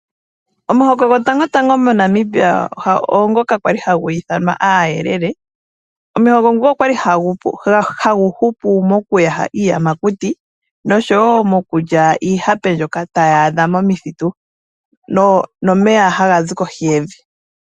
Omuhoko gwotangotango moNamibia oongoka kwa li hagu ithanwa aayelele . Omuhoko ngoka okwa li hagu hupu mokuyaha iiyamakuti noshowoo okulya iihape mbyoka tayi adha momithitu nomeya haga zi kohi yevi.